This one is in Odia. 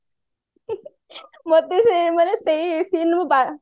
ମତେ ସେ ମାନେ ସେଇ seane ମୁଁ ବା